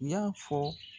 Y'a fɔ